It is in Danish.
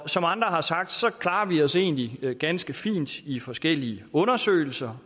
som andre har sagt klarer vi os egentlig ganske fint i forskellige undersøgelser